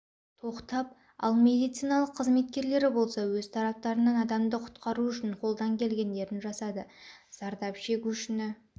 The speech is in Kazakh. тоқтап ал медициналық қызметкерлері болса өз тараптарынан адамды құтқару үшін қолдан келгендерін жасады зардап шегушіні